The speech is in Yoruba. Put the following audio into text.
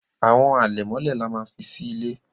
Àwo àlẹ̀mọ́lẹ̀ là má fí sí ìlé